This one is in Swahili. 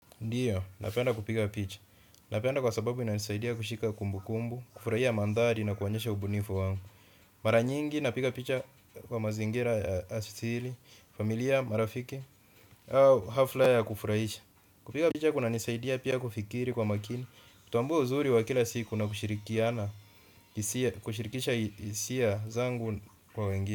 Ndiyo, napenda kupiga picha napenda kwa sababu inanisaidia kushika kumbukumbu, kufurahia mandhari na kuonyesha ubunifu wangu. Mara nyingi napiga picha kwa mazingira ya asili, familia, marafiki, au hafla ya kufurahisha. Kupiga picha kunanisaidia pia kufikiri kwa makini. Kutambua uzuri wa kila siku na kushirikiana kushirikisha hisia zangu kwa wengine.